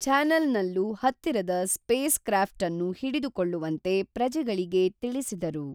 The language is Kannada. ಛಾನಲ್ನಲ್ಲೂ ಹತ್ತಿರದ ಸ್ಪೇಸ್ಕ್ರಾಫ್ಟ ಅನ್ನು ಹಿಡಿದು ಕೊಳ್ಳುವಂತೆ ಪ್ರಜೆಗಳಿಗೇ ತಿಳಿಸಿದರು